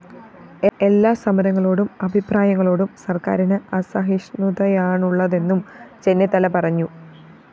എല്ലാ സമരങ്ങളോടും അഭിപ്രായങ്ങളോടും സര്‍ക്കാരിന് അസഹിഷ്ണുതയാണുള്ളതെന്നും ചെന്നിത്തല പറഞ്ഞു